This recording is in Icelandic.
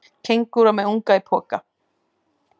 Kengúra með unga í poka.